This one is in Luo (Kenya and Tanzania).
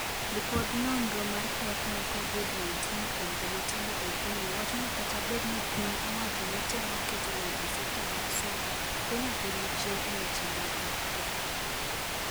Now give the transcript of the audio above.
Lipod nonro mar pek mar Covid-19 kuom jomatindo ei Kenya wacho ni kata bed ni piny owacho netemo keto lony e sekta no mar somo, Kenya pod nichien e weche go mag lony.